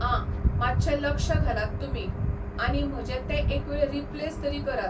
आ, मातशें लक्ष घालात तुमी आनी म्हजें तें एकवेळ रिप्लेस तरी करात.